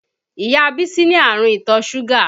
Ìyá Bísí ní àrùn ìtọ̀ súgà